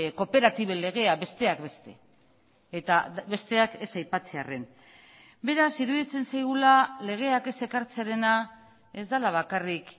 kooperatiben legea besteak beste eta besteak ez aipatzearren beraz iruditzen zaigula legeak ez ekartzearena ez dela bakarrik